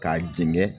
K'a jɛngɛ